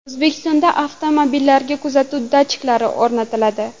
O‘zbekistonda avtomobillarga kuzatuv datchiklari o‘rnatiladi.